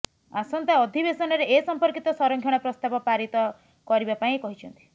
ଆସନ୍ତା ଅଧିବେଶନରେ ଏସମ୍ପର୍କିତ ସଂରକ୍ଷଣ ପ୍ରସ୍ତାବ ପାରିତ କରିବା ପାଇଁ କହିଛନ୍ତି